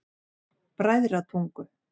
Bræðratungu